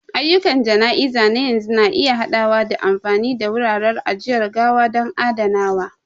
Ayyukan jana'iza na yanzu na iya haɗawa da amfani da wuraren ajiyar gawa don adanawa.